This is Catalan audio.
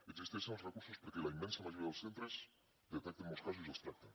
existeixen els recursos perquè la immensa majoria dels centres detecten molts casos i els tracten